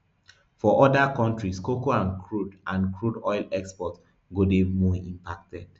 for oda kontris cocoa and crude and crude oil exports go dey more impacted